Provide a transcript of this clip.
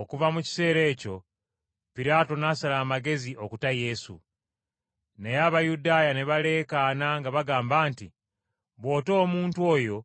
Okuva mu kiseera ekyo Piraato n’asala amagezi okuta Yesu. Naye Abayudaaya ne baleekaana nga bagamba nti, “Bw’ota omuntu oyo